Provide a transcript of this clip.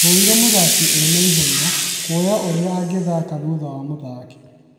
"Twonire mũthaki ena ihenya ,kwoya ũria angĩthaka thutha wa mũthaki